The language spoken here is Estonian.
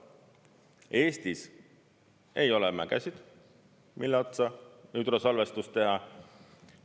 Eestis ei ole mägesid, mille otsa hüdrosalvestus teha.